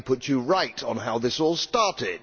Let me put you right on how this all started.